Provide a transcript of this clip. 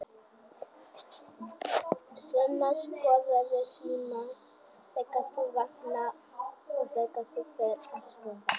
Sunna: Skoðarðu símann þegar þú vaknar og þegar þú ferð að sofa?